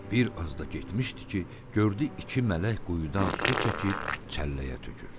Bir az da getmişdi ki, gördü iki mələk quyudan su çəkib çəlləyə tökür.